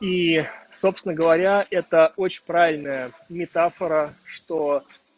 собственно говоря это очень правильная метафора что